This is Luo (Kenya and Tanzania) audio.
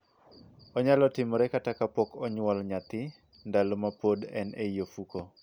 Onyalo timore kata ka pok onyuol nyathi, ndalo ma pod en ei ofuko.